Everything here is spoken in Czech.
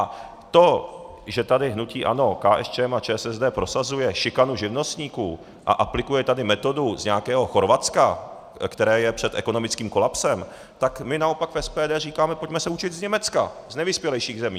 A to, že tady hnutí ANO, KSČM a ČSSD prosazuje šikanu živnostníků a aplikuje tady metodu z nějakého Chorvatska, které je před ekonomickým kolapsem, tak my naopak v SPD říkáme, pojďme se učit z Německa, z nejvyspělejších zemí.